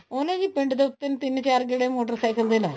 ਉਹਨੇ ਵੀ ਪਿੰਡ ਦੇ ਉੱਪਰ ਨੂੰ ਤਿੰਨ ਚਾਰ ਗੇੜੇ ਮੋਟਰ ਸਾਇਕਲ ਦੇ ਲਾਏ